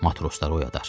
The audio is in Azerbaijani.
Matrosları oyadar.